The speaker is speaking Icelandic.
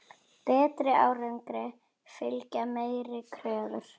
Betri árangri fylgja meiri kröfur.